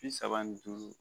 Bi saba ni duuru